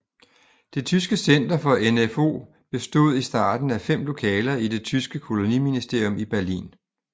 Det tyske center for NfO bestod i starten af fem lokaler i det tyske koloniministerium i Berlin